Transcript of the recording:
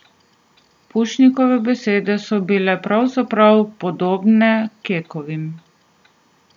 Pušnikove besede so bile pravzaprav podobne Kekovim.